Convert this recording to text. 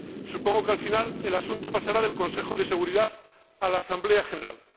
Supongo que al final el asunto pasará del Consejo de Seguridad a la Asamblea General.